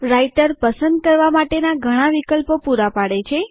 writer પસંદ કરવા માટેના ઘણા વિકલ્પો પુરા પાડે છે